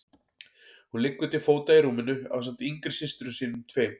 Hún liggur til fóta í rúminu ásamt yngri systrum sínum tveim.